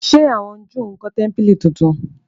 Se àwọn júù nkó tẹmpili títún?